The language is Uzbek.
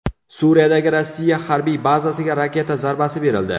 Suriyadagi Rossiya harbiy bazasiga raketa zarbasi berildi.